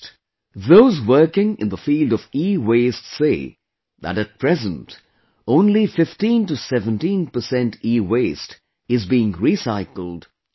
Those working in the field of EWaste say that at present, only 1517 percent EWaste is being recycled every year